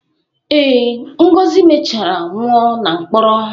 Ee, Ngozi mechara nwụọ na mkpọrọ.